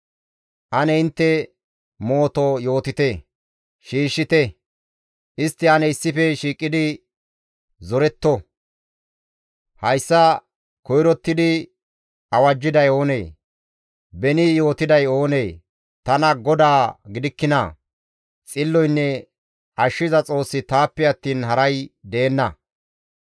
Ane intte mooto yootite; shiishshite; istti ane issife shiiqidi zoretetto. Hayssa koyrottidi awajjiday oonee? Beni yootiday oonee? Tana GODAA gidikkinaa? Xilloynne Ashshiza Xoossi taappe attiin haray deenna.